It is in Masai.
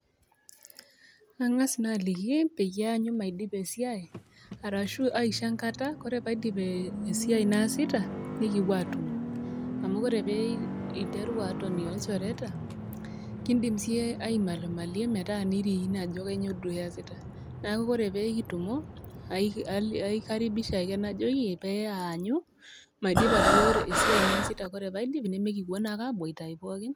Aang'as naa aliki , peyie eanyu maidipa esiai. Arashu aisho enkata ore pee aidip esiai naasita nekipuo aatumo. Amu ore pee interu atoni olchoreta, kindim sii iyie aimalimalie metaa nirikino ajo kainyoo duo iasita. Neaku ore pee kitumo, aikaribisha ake najoki pee aanyu maidipa duo esiai naasita ore paidip nemekipuo naa aboitayu poki.